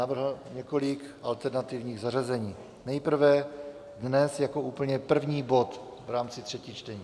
Navrhl několik alternativních zařazení, nejprve dnes jako úplně první bod v rámci třetích čtení.